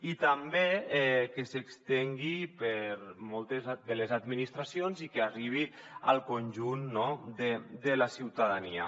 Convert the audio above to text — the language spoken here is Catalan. i també que s’estengui per moltes de les administracions i que arribi al conjunt de la ciutadania